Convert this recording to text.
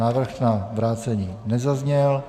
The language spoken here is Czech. Návrh na vrácení nezazněl.